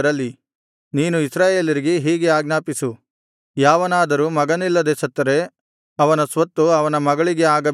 ನೀನು ಇಸ್ರಾಯೇಲರಿಗೆ ಹೀಗೆ ಆಜ್ಞಾಪಿಸು ಯಾವನಾದರೂ ಮಗನಿಲ್ಲದೆ ಸತ್ತರೆ ಅವನ ಸ್ವತ್ತು ಅವನ ಮಗಳಿಗೆ ಆಗಬೇಕು